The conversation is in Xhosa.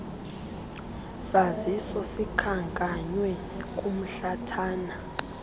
saziso sikhankanywe kumhlathana